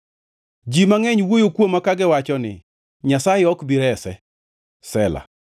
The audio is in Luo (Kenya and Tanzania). Ji mangʼeny wuoyo kuoma, kagiwacho ni, “Nyasaye ok bi rese.” Sela + 3:2 Sela tiend wachni ok ongʼere.